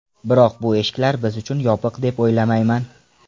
Biroq bu eshiklar biz uchun yopiq deb o‘ylamayman.